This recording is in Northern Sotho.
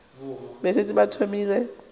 be a šetše a thomile